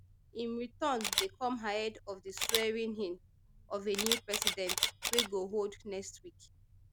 im return dey come ahead of di swearingin of a new president wey go hold next week